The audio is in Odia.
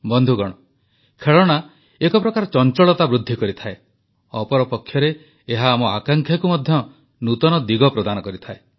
ବନ୍ଧୁଗଣ ଖେଳଣା ଏକପ୍ରକାର ଚଂଚଳତା ବୃଦ୍ଧି କରିଥାଏ ଅପରପକ୍ଷରେ ଏହା ଆମ ଆକାଂକ୍ଷାକୁ ମଧ୍ୟ ନୂତନ ଦିଗ ପ୍ରଦାନ କରିଥାଏ